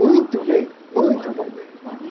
Muito bem, muito bom.